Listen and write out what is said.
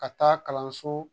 Ka taa kalanso